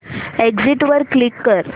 exit वर click कर